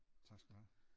Tak skal du have